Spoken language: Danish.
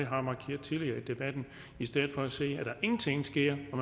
har markeret tidligere i debatten i stedet for at se på at der ingenting sker og